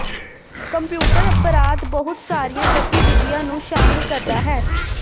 computer ਅਪਰਾਧ ਬਹੁਤ ਸਾਰੀਆਂ ਗਤੀਵਿਧੀਆਂ ਨੂੰ ਸ਼ਾਮਲ ਕਰਦਾ ਹੈ